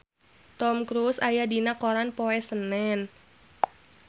Tom Cruise aya dina koran poe Senen